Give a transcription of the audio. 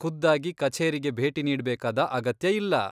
ಖುದ್ದಾಗಿ ಕಛೇರಿಗೆ ಭೇಟಿ ನೀಡ್ಬೇಕಾದ ಅಗತ್ಯ ಇಲ್ಲ.